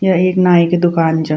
या एक नाई की दूकान च।